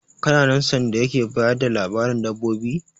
Kana nan sanda yake bayar da labarin dabbobi?